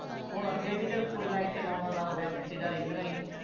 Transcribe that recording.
ਹੁਣ ਅੱਗੇ ਵੀ ਤੇ ਕੁੜੀਆਂ ਐਥੇ ਨੌਂ ਨੌਂ ਦੱਸ ਵਜੇ ਸਿੱਧਾ ਰਹਿੰਦੀਆਂ ਹੀ ਸੀ